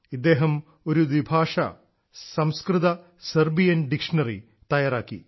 ഇദ്ദേഹം ഒരു ദ്വിഭാഷാ സംസ്കൃതസെർബിയൻ ഡിക്ഷണറി തയ്യാറാക്കി